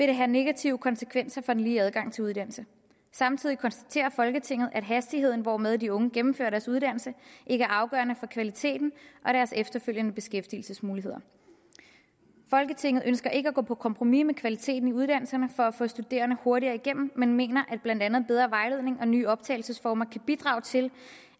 det have negative konsekvenser for den lige adgang til uddannelse samtidig konstaterer folketinget at hastigheden hvormed de unge gennemfører deres uddannelse ikke er afgørende for kvaliteten og deres efterfølgende beskæftigelsesmuligheder folketinget ønsker ikke at gå på kompromis med kvaliteten i uddannelserne for at få de studerende hurtigere igennem men mener at blandt andet bedre vejledning og nye optagelsesformer kan bidrage til